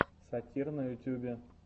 сатир на ютюбе